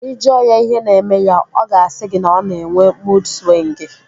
Ị jụọ ya ihe na-eme ya, ọ ga-asị gị na ọ na-enwe muud swịngi